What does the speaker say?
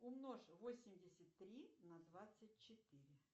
умножь восемьдесят три на двадцать четыре